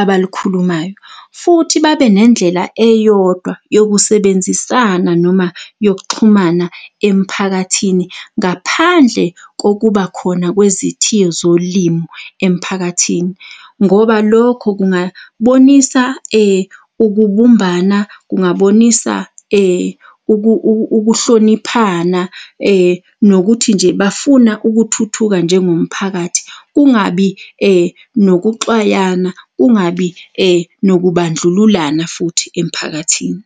abalukhulumayo. Futhi babe nendlela eyodwa yokusebenzisana noma yokuxhumana emphakathini ngaphandle kokuba khona kwezithiyo zolimu emphakathini, ngoba lokho kungabonisa ukubumbana, kungabonisa ukuhloniphana, nokuthi nje bafuna ukuthuthuka njengomphakathi. Kungabi nokuxwayana, kungabi nokubandlululana futhi emphakathini.